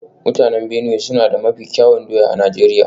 Mutanen Benue suna da mafi kyawun doya a Najeriya